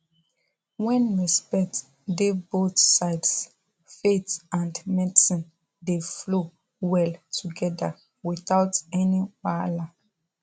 when respect dey both sides faith and medicine dey flow well together without any wahala